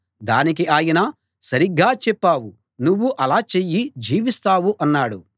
దానికి ఆయన సరిగ్గా చెప్పావు నువ్వూ అలా చెయ్యి జీవిస్తావు అన్నాడు